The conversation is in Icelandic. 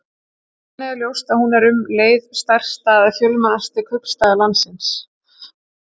Þannig er ljóst að hún er um leið stærsti eða fjölmennasti kaupstaður landsins.